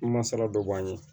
Masala dɔ b'an ye